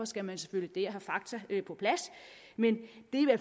skal man selvfølgelig have fakta på plads men det